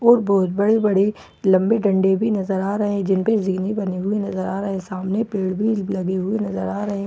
और बहुत बड़ी-बड़ी लंबें डंडे भी नजर आ रहे हैं जिनपे जीने बने नजर आ रहे हैं सामने पेड़ भी लगे हुए नजर आ रहे हैं और सामने--